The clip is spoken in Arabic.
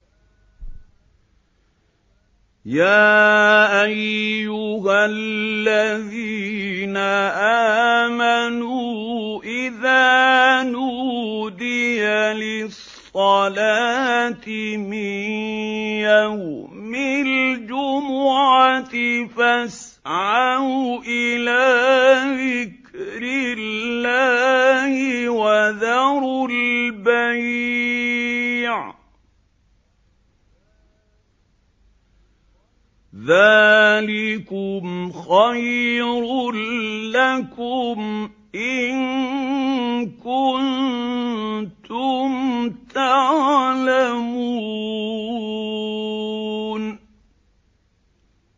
يَا أَيُّهَا الَّذِينَ آمَنُوا إِذَا نُودِيَ لِلصَّلَاةِ مِن يَوْمِ الْجُمُعَةِ فَاسْعَوْا إِلَىٰ ذِكْرِ اللَّهِ وَذَرُوا الْبَيْعَ ۚ ذَٰلِكُمْ خَيْرٌ لَّكُمْ إِن كُنتُمْ تَعْلَمُونَ